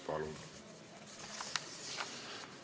Palun!